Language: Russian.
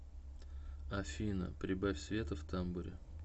афина прибавь света в тамбуре